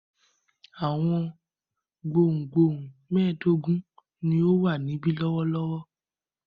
Àwọn gbohùngbohùn mẹ́ẹ̀dógún ni ó wà níbí lọ́wọ́lọ́wọ́.